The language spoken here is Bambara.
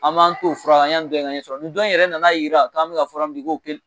An b'an t'o faga kan yani dɔ in ɲɛ ka sɔrɔ nin dɔ in yɛrɛ nan'a jira a k'an bɛ ka fura min di k'o kelen